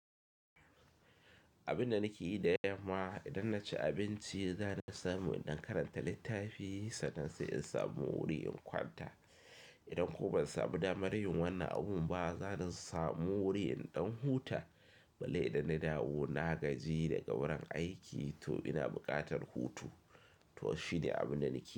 Abin da nake yi da yamma idan na ci abinci za ni samu in ɗan karanta littafi sannan sai in samu wuri in kwanta. Idan kuma ban samu damar yin wannan abun ba, za ni samu wuri inɗan huta. Balle idan na dawo, na gaji da ga wurin aiki to ina buƙatar hutu. To shine abin da nake yi.